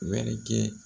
Wɛrɛ kɛ